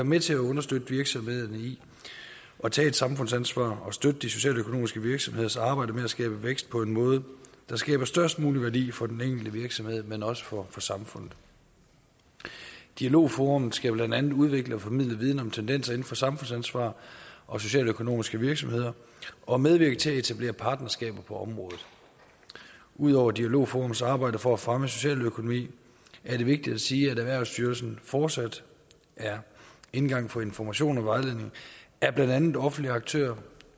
med til at understøtte virksomhederne i at tage samfundsansvar og støtte de socialøkonomiske virksomheders arbejde med at skabe vækst på en måde der skaber størst mulig værdi for den enkelte virksomhed men også for samfundet dialogforum skal blandt andet udvikle og formidle viden om tendenser inden for samfundsansvar og socialøkonomiske virksomheder og medvirke til at etablere partnerskaber på området ud over dialogforums arbejde for at fremme socialøkonomi er det vigtigt at sige at erhvervsstyrelsen fortsat er indgangen for information og vejledning af blandt andet offentlige aktører